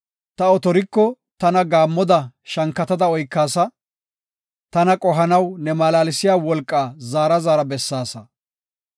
Ta otoriko tana gaammoda shankatada oykaasa; tana qohanaw ne malaalsiya wolqaa zaara zaara bessaasa.